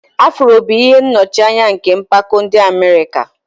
Afro bụ ihe nnọchianya nke mpako ndị Amerik